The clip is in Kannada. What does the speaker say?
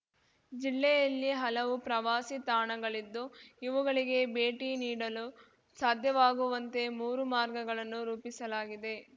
ಜಿಲ್ಲೆಯಲ್ಲಿ ಹಲವು ಪ್ರವಾಸಿ ತಾಣಗಳಿದ್ದು ಇವುಗಳಿಗೆ ಭೇಟಿ ನೀಡಲು ಸಾಧ್ಯವಾಗುವಂತೆ ಮೂರು ಮಾರ್ಗಗಳನ್ನು ರೂಪಿಸಲಾಗಿದೆ